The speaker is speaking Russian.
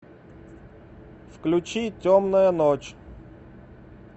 включи темная ночь